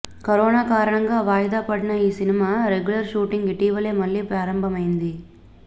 corona కారణంగా వాయిదా పడిన ఈ సినిమా రెగ్యులర్ షూటింగ్ ఇటీవలే మళ్ళీ ప్రారంభమయ్యింది